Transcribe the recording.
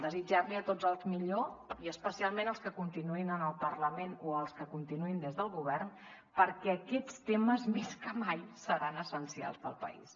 desitjar los a tots el millor i especialment als que continuïn en el parlament o als que continuïn des del govern perquè aquests temes més que mai seran essencials per al país